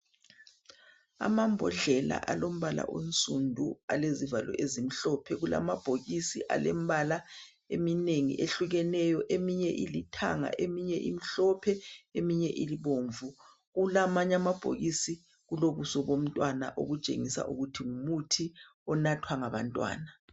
Amambodlela alombala onsundu alezivalo ezimhlophe kulamabhokisi alemibala eminengi ehlukeneyo eminye ilithanga eminye imhlophe eminye ibomvu kulamabhokisi kulobuso bomntwana okutshengisa ukuthi ngumuthi onathwa ngabantwana.